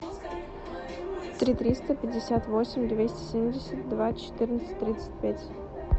три триста пятьдесят восемь двести семьдесят два четырнадцать тридцать пять